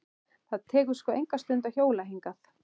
Það tekur sko enga stund að hjóla hingað.